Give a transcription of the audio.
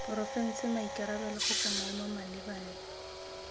porofense maikarabelo kgotsa maemo malebana